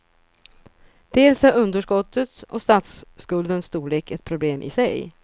Dels är underskottets och statsskuldens storlek ett problem i sig.